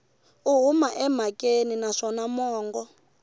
u huma emhakeni naswona mongo